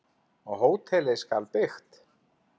Og hótelið skal byggt.